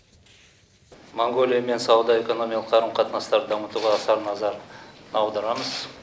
моңғолиямен сауда экономикалық қарым қатынастарды дамытуға аса назар аударамыз